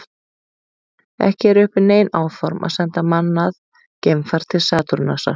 Ekki eru uppi nein áform að senda mannað geimfar til Satúrnusar.